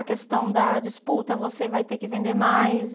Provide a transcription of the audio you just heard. A questão da disputa, você vai ter que vender mais.